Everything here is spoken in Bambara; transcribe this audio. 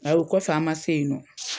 Ayi o kofɛ a ma se yen nɔ.